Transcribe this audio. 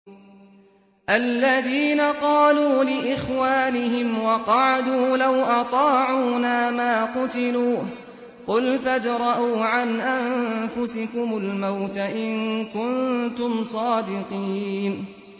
الَّذِينَ قَالُوا لِإِخْوَانِهِمْ وَقَعَدُوا لَوْ أَطَاعُونَا مَا قُتِلُوا ۗ قُلْ فَادْرَءُوا عَنْ أَنفُسِكُمُ الْمَوْتَ إِن كُنتُمْ صَادِقِينَ